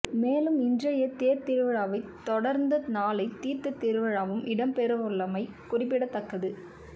மேலும் இன்றைய தேர்த்திருவிழாவைத் தொடர்ந்த நாளை தீர்த்த திருவிழாவும் இடம்பெறவுள்ளமை குறிப்பிடத்தக்கது